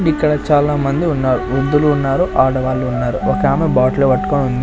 ఇక్కడ చాలామంది ఉన్నారు వృద్ధులు ఉన్నారు ఆడవాళ్లు ఉన్నారు ఒక ఆమె బాటిల్ పట్టుకొని --